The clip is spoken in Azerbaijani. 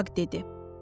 Afaq dedi.